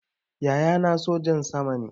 Yaya na sojan sama ne